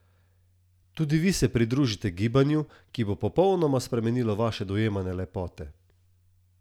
Tudi vi se pridružite gibanju, ki bo popolnoma spremenilo vaše dojemanje lepote!